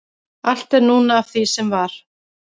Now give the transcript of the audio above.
allt er núna af sem var